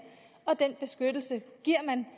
og den beskyttelse giver man